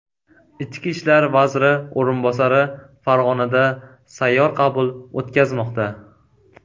Ichki ishlar vaziri o‘rinbosari Farg‘onada sayyor qabul o‘tkazmoqda.